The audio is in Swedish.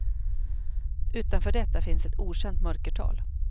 Utanför detta finns ett okänt mörkertal.